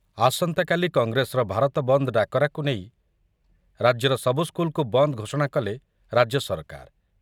ଆସନ୍ତାକାଲି କଂଗ୍ରେସର ଭାରତ ବନ୍ଦ ଡାକରାକୁ ନେଇ ରାଜ୍ୟର ସବୁ ସ୍କୁଲ୍‌କୁ ବନ୍ଦ ଘୋଷଣା କଲେ ରାଜ୍ୟ ସରକାର